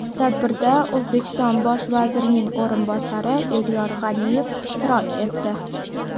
Tadbirda O‘zbekiston bosh vazirining o‘rinbosari Elyor G‘aniyev ishtirok etdi.